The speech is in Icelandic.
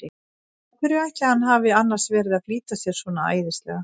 Af hverju ætli hann hafi annars verið að flýta sér svona æðislega!